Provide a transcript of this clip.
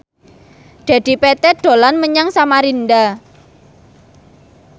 Dedi Petet dolan menyang Samarinda